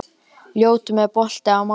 Ljótunn, er bolti á mánudaginn?